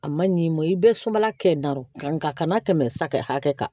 A man ɲi i ma i bɛ sumala kɛ n'o nka tɛmɛ saga hakɛ kan